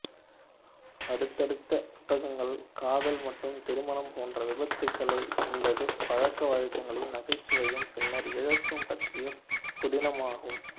அடுத்தடுத்த புத்தகங்கள் காதல் மற்றும் திருமணம் போன்ற விபத்துகள் என்பது பழக்கவழக்கங்களின் நகைச்சுவையும் பின்னர் இழப்பு பற்றிய புதினமாகும்